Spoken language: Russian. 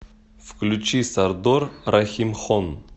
включи сардор рахимхон